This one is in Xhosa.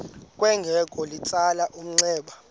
kwangoko litsalele umnxeba